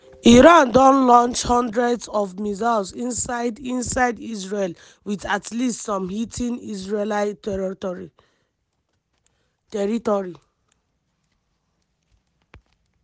iran don launch hundreds of missiles inside inside israel wit at least some hitting israeli territory.